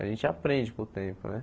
A gente aprende com o tempo, né?